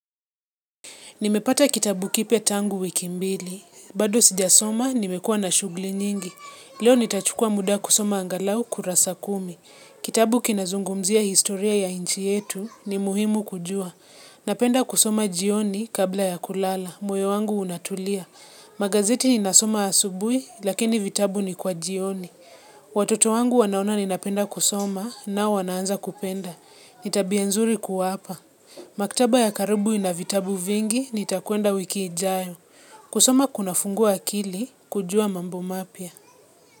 Nimepata kitabu kipia tangu wiki mbili. Bado sijasoma, nimekua na shugli nyingi. Leo nitachukua muda kusoma angalau kurasa kumi. Kitabu kinazungumzia historia ya inchi yetu ni muhimu kujua. Napenda kusoma jioni kabla ya kulala. Mweo wangu unatulia. Magazeti ni nasoma asubui, lakini vitabu ni kwa jioni. Watoto wangu wanaona ni napenda kusoma na wanaanza kupenda. Nitabia nzuri kuwa apa. Maktaba ya karubu inavitabu vingi ni takuenda wikiijayo. Kusama kuna fungu akili kujua mambo mapya.